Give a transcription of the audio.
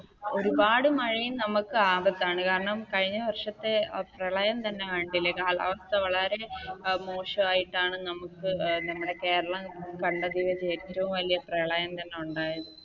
ഒരുപാട് മഴയും നമുക്ക് ആപത്താണ് കാരണം, കഴിഞ്ഞ വർഷത്തെ പ്രളയം തന്നെ കണ്ടില്ലേ കാലാവസ്ഥ വളരെ മോശമായിട്ടാണ് നമുക്ക് നമ്മുടെ കേരളം കണ്ടതിൽ വെച്ച് ഏറ്റവും വല്യ പ്രളയം തന്നെ ഉണ്ടായത്.